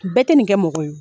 Bɛɛ tɛ nin kɛ mɔgɔ ye